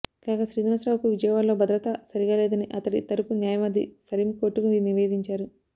కాగా శ్రీనివాసరావుకు విజయవాడలో భద్రత సరిగా లేదని అతడి తరపు న్యాయవాది సలీమ్ కోర్టుకు నివేదించారు